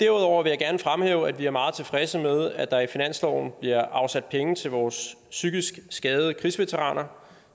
derudover vil jeg gerne fremhæve at vi er meget tilfredse med at der i finansloven bliver afsat penge til vores psykisk skadede krigsveteraner